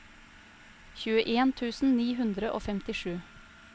tjueen tusen ni hundre og femtisju